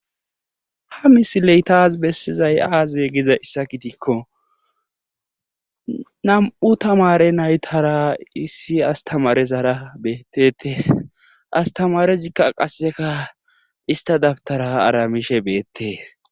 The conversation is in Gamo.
Ha misiley taas bessizay aaze gizayssa gidikko nam77u tamaare naytara issi asttamaarezara beetteetes asttamarezikka qasse istta dabttara aramishe beettees.